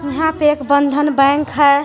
यहाँ पे एक बंधन बैंक हे.